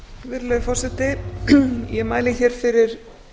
virðulegur forseti ég mæli hér fyrir